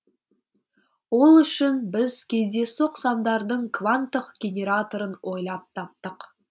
ол үшін біз кездейсоқ сандардың кванттық генераторын ойлап таптық